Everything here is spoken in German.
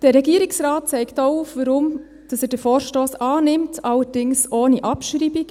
Der Regierungsrat zeigt auch auf, warum er den Vorstoss annimmt, allerdings ohne Abschreibung.